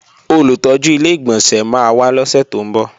Olùtọ́jú Ilé-ìgbọ̀nsẹ̀ máa wá lọ́sè tó ń bọ̀